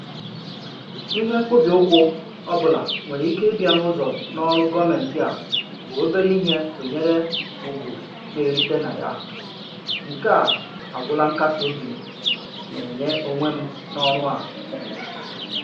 Ihe mkpọbi ụkwụ ọbụla nwere ike ịbịa n'ụzọ n'ọrụ gọọmentị a bụ obere ihe tụnyere ugwu na-erite na ya, nke a agwụla nkasị obi m na-enye onwe m n'ọrụ a